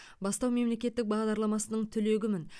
бастау мемлекеттік бағдарламасының түлегімін